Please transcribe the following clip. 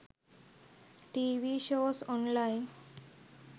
tv shows online